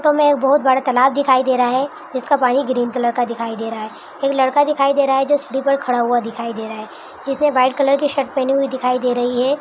हमे एक बोहोत बडा तालाब दिखाई दे रहा है जिसका पानी ग्रीन कलर का दिखाई दे रहा है एक लड़का दिखाई दे रहा है जो सीडी पर खड़ा हुआ दिखाई दे रहा है जिसने वाइट कलर की शर्ट पेहनी हुई दिखाई दे रही है।